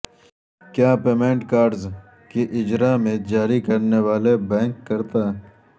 کیا payment cards کے اجراء میں جاری کرنے والے بینک کرتا